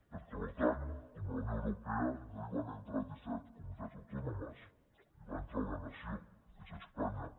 perquè a l’otan com a la unió europea no hi van entrar disset comunitats autònomes hi va entrar una nació que és espanya